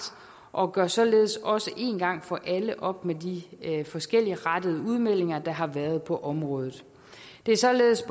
og gør således også en gang for alle op med de forskelligrettede udmeldinger der har været på området det er således